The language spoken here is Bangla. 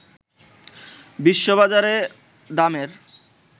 বিশ্ববাজারে দামের